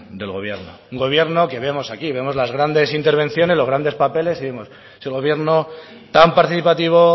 del gobierno un gobierno que vemos aquí vemos las grandes intervenciones los grandes papeles y vemos si el gobierno tan participativo